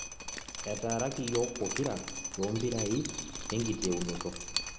Etaraaki yiok ppokira toombirai enkiteunoto